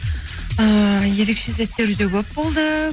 ііі ерекше сәттер өте көп болды